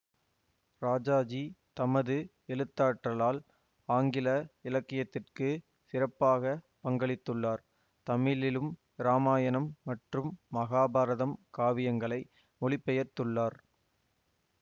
ராஜாஜி தமது எழுத்தாற்றலால் ஆங்கில இலக்கியத்திற்கு சிறப்பாக பங்களித்துள்ளார் தமிழிலும் ராமாயணம் மற்றும் மகாபாரதம் காவியங்களை மொழிபெயர்த்துள்ளார்